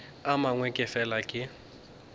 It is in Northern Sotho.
a mangwe ke fela ke